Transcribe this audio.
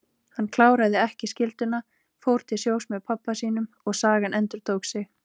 Hann kláraði ekki skylduna, fór til sjós með pabba sínum og sagan endurtók sig.